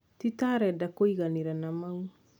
titareda kũiganira na mau